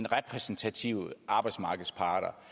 repræsentative arbejdsmarkedsparter